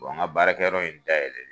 bɔn n ka baarakɛyɔrɔ in da yɛlɛ len